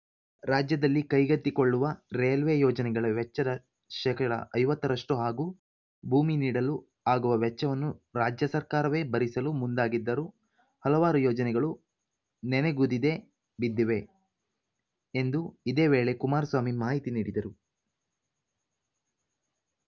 ರಾಜ್ಯದಲ್ಲಿ ಕೈಗೆತ್ತಿಕೊಳ್ಳುವ ರೈಲ್ವೆ ಯೋಜನೆಗಳ ವೆಚ್ಚದ ಶೇಕಡಾ ಐವತ್ತರಷ್ಟುಹಾಗೂ ಭೂಮಿ ನೀಡಲು ಆಗುವ ವೆಚ್ಚವನ್ನು ರಾಜ್ಯ ಸರ್ಕಾರವೇ ಭರಿಸಲು ಮುಂದಾಗಿದ್ದರೂ ಹಲವಾರು ಯೋಜನೆಗಳು ನೆನೆಗುದಿದೆ ಬಿದ್ದಿವೆ ಎಂದು ಇದೇ ವೇಳೆ ಕುಮಾರಸ್ವಾಮಿ ಮಾಹಿತಿ ನೀಡಿದರು